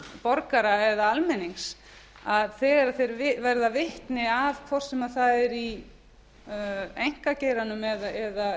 borgara eða almennings að þegar þeir verða vitni að hvort sem það er í einkageiranum eða